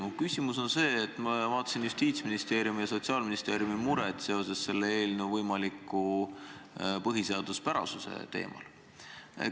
Mu küsimus puudutab Justiitsministeeriumi ja Sotsiaalministeeriumi muret selle eelnõu põhiseaduspärasuse üle.